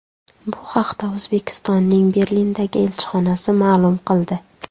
Bu haqda O‘zbekistonning Berlindagi elchixonasi ma’lum qildi .